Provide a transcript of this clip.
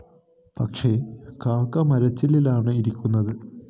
പക്ഷേ കാക്ക മരച്ചില്ലയിലാണ് ഇരിക്കുന്നത്